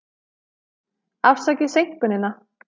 Afsakið seinkunina.